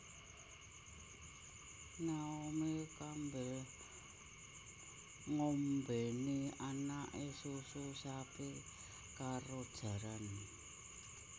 Naomi Campbell ngombeni anake susu sapi karo jaran